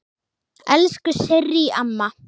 Elsku Sirrý amma.